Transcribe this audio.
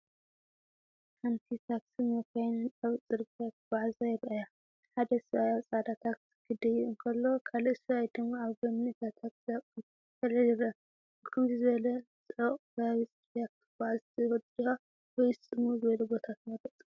ሓንቲ ታክሲን መካይንን ኣብ ጽርግያ ክጓዓዛ ይረኣያ። ሓደ ሰብኣይ ኣብ ጻዕዳ ታክሲ ክድይብ እንከሎ፡ካልእ ሰብኣይ ድማ ኣብ ጎኒ እታ ታክሲ ኣቁሑት ከልዕል ይረአ። ኣብ ከምዚ ዝበለ ጽዑቕ ከባቢ ጽርግያ ክትጓዓዝ ትፈቱ ዲኻ? ወይስ ጽምው ዝበለ ቦታ ትመርጽ?